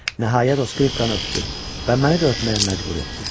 Nəhayət o skripkanı öpdü və məni də öpməyə məcbur etdi.